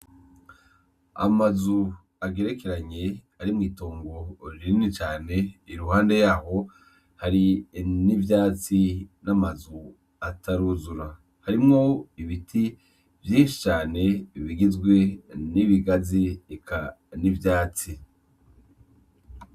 Amazu agerekeranye ari mw'itongo rinini cane iruhande yaho hari n'ivyatsi n'amazu ataruzura. Harimwo ibiti vyinshi cane bigizwe n'ibigazi eka n'ivyatsi.